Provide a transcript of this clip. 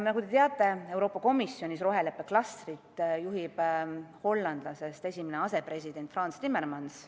Nagu te teate, Euroopa Komisjonis juhib roheleppe klastrit hollandlasest esimene asepresident Frans Timmermans.